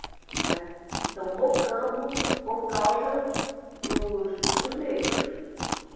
Né, então, Mocambo por causa dos dos negros.